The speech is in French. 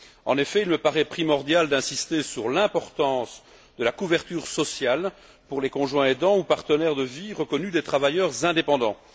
En effet, il me paraît primordial d'insister sur l'importance de la couverture sociale pour les conjoints aidants ou partenaires de vie reconnus des travailleurs indépendants.